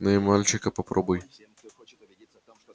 но и мальчика попробуй